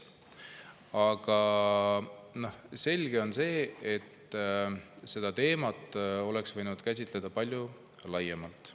Aga selge on see, et seda teemat oleks võinud käsitleda palju laiemalt.